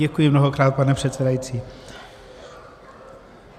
Děkuji mnohokrát, pane předsedající.